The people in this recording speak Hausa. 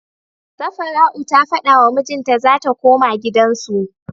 Safara'u ta fada wa mijin ta zata koma gidan su